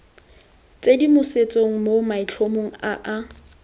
tshedimosetso mo maitlhomong a a